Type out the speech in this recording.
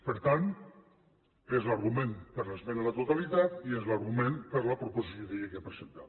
per tant és l’argument per l’esmena a la totalitat i és l’argument per la proposició de llei que ha presentat